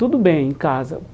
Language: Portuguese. Tudo bem em casa.